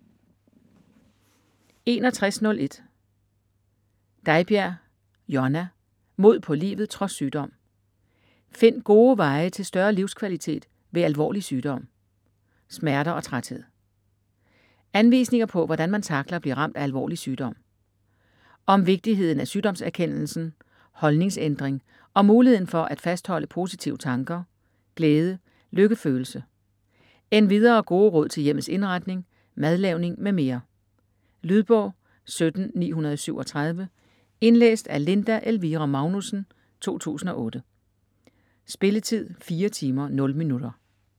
61.01 Deibjerg, Jonna: Mod på livet trods sygdom: find gode veje til større livskvalitet ved alvorlig sygdom - smerter og træthed Anvisninger på, hvordan man tackler at blive ramt af alvorlig sygdom. Om vigtigheden af sygdomserkendelsen, holdningsændring og muligheden for at fastholde positive tanker, glæde, lykkefølelse. Endvidere gode råd til hjemmets indretning, madlavning m.m. Lydbog 17937 Indlæst af Linda Elvira Magnusssen, 2008. Spilletid: 4 timer, 0 minutter.